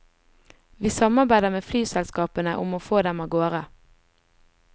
Vi samarbeider med flyselskapene om å få dem av gårde.